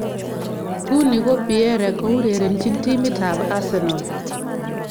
Nguni ko Pierre ko urerenjin timit ab Arsenal.